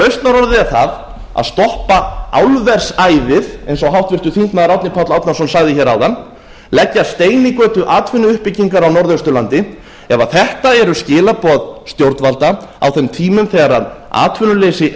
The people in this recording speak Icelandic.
er það að stoppa álversæðið eins og háttvirtur þingmaður árni páll árnason sagði hér áðan leggja stein í götu atvinnuuppbyggingar á norðausturlandi ef þetta eru skilaboð stjórnvalda á þeim tímum þegar atvinnuleysi